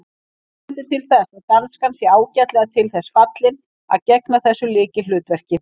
Margt bendir til þess að danskan sé ágætlega til þess fallin að gegna þessu lykilhlutverki.